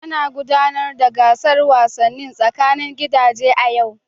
Ana gudanar da gasar wasannin tsakanin gidaje a yau.